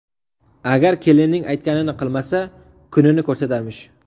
Agar kelinning aytganini qilmasa, kunini ko‘rsatarmish.